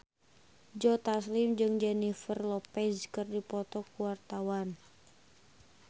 Joe Taslim jeung Jennifer Lopez keur dipoto ku wartawan